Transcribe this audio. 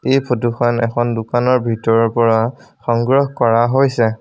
এই ফটোখন এখন দোকানৰ ভিতৰৰ পৰা সংগ্ৰহ কৰা হৈছে।